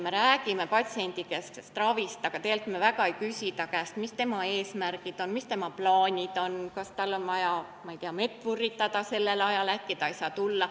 Me räägime patsiendikesksest ravist, aga tegelikult me väga ei küsi inimese enda käest, mis on tema eesmärgid, mis on tema plaanid, kas tal on vaja, ma ei tea, mett vurritada sellel ajal, äkki ta ei saa tulla.